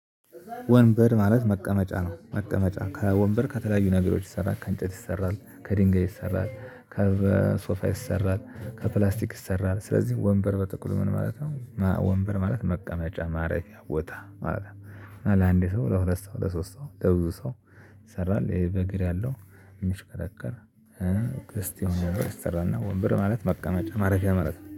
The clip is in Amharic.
ወንበር ማለት መቀመጫ ነው መቀመጫ ከወንበር ከተለያዩ ነገሮች ይሰራል ከእንጨት ይሰራል ከድንገት ይሰራል ከሶፋ ይሰራል ከፕላስቲክ ይሰራል ስለዚህ ወንበር በትኩል ምን ማለት ነው? ወንበር ማለት ማረፊያ ቦታ ማለት ነው። ለአንዴ ሰው ለሁለት ሰው ለሶስት ሰው ለብዙ ሰው ይሰራል። በግር ያለው እሚሽከረከር። ክርስቲያኖ ሬስቶራንት እና ወንበር ማለት መቀመጫ ማረፊያ ማለት ነው